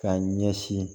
K'a ɲɛsin